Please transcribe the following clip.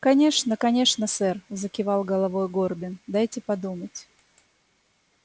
конечно конечно сэр закивал головой горбин дайте подумать